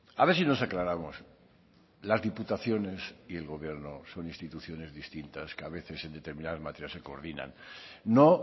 a ver si nos aclaramos las diputaciones y el gobierno son instituciones distintas que a veces en determinadas materias se coordinan no